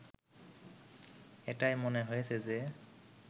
এটাই মনে হয়েছে যে